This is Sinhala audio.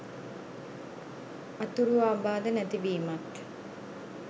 අතුරු අබාධ නැති වීමත්